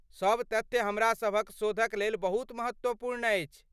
सब तथ्य हमरा सभक शोधक लेल बहुत महत्वपूर्ण अछि।